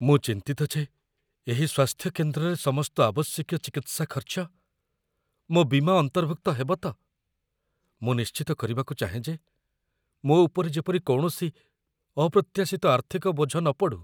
ମୁଁ ଚିନ୍ତିତ ଯେ ଏହି ସ୍ୱାସ୍ଥ୍ୟକେନ୍ଦ୍ରରେ ସମସ୍ତ ଆବଶ୍ୟକୀୟ ଚିକିତ୍ସା ଖର୍ଚ୍ଚ ମୋ' ବୀମା ଅନ୍ତର୍ଭୁକ୍ତ ହେବ ତ? ମୁଁ ନିଶ୍ଚିତ କରିବାକୁ ଚାହେଁ ଯେ ମୋ ଉପରେ ଯେପରି କୌଣସି ଅପ୍ରତ୍ୟାଶିତ ଆର୍ଥିକ ବୋଝ ନପଡ଼ୁ।